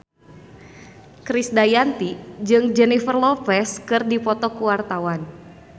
Krisdayanti jeung Jennifer Lopez keur dipoto ku wartawan